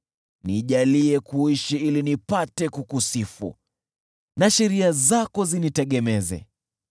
Nijalie kuishi ili nipate kukusifu, na sheria zako zinitegemeze.